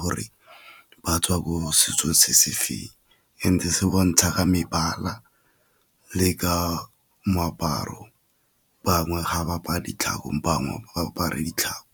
gore ba tswa ko setso se se feng, ntse se bontsha ka mebala le ka moaparo. Bangwe ga ba apare ditlhakong bangwe ba apara ditlhako.